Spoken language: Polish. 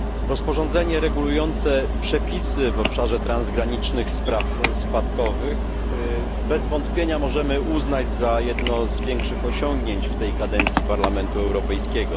Rozporządzenie regulujące przepisy w obszarze transgranicznych spraw spadkowych bez wątpienia możemy uznać za jedno z większych osiągnięć w tej kadencji Parlamentu Europejskiego.